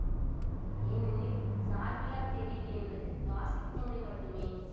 ஏனெனில் சார்பிலாத் தெரிவு என்பது வாசிப்பு முறை மட்டுமே